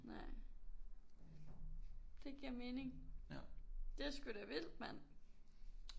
Nej. Det giver mening. Det sgu da vildt mand!